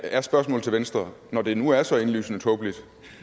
er spørgsmålet til venstre når det nu er så indlysende tåbeligt